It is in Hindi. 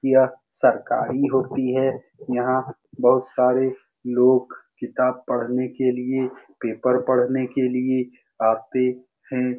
यह सरकारी होती है यहाँ बहुत सारे लोग किताब पढ़ने के लिए पेपर पढ़ने के लिए आते हैं।